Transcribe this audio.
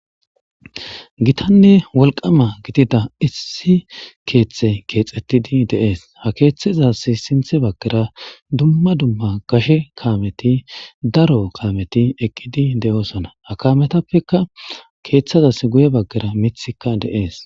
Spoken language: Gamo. Gittanne wollqqama gididda issi keththeyi kexxetidi deessi ha keththeza sinththe baggara duma duma gashshe kammeti daro kammeti eqqidi de'osona ha kammetappe guye bagara keththazas miththikka de'es.